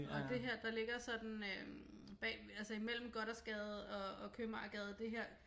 Og det har der ligger sådan øh bag altså imellem Gothersgade og Købmagergade det her